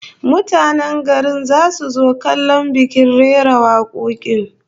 Mutanen garin zasu zo kallon bikin rera wakokin